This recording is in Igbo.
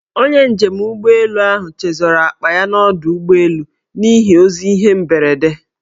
Onye njem ụgbọelu ahụ chezọrọ akpa ya n' ọdọụgbọelu n' ihi ozi ihe mberede.